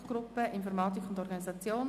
«Produktgruppe Informatik und Organisation.